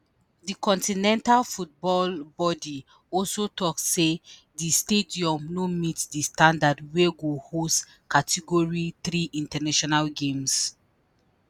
di continental football body also tok say di stadium “no meet di standard wey go host category 3 international games.”